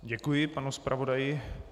Děkuji panu zpravodaji.